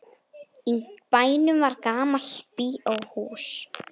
Í bænum var gamalt bíóhús.